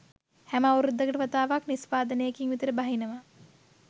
හැම අවුරුද්දකට වතාවක් නිස්පාදනේකින් විතර බහිනවා.